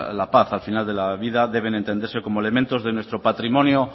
la paz al final de la vida deben entenderse como elementos de nuestro patrimonio